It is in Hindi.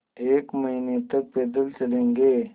एक महीने तक पैदल चलेंगे